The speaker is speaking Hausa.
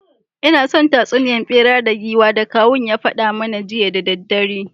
Ina son tatsuniya bera da giwa da kawun ya fada mana jiya da daddare…